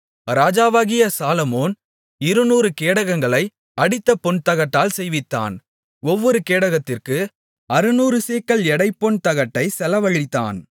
ராஜாவாகிய சாலொமோன் இருநூறு கேடகங்களை அடித்த பொன்தகட்டால் செய்வித்தான் ஒவ்வொரு கேடகத்திற்கு அறுநூறு சேக்கல் எடை பொன் தகட்டைச் செலவழித்தான்